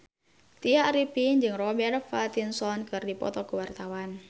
Tya Arifin jeung Robert Pattinson keur dipoto ku wartawan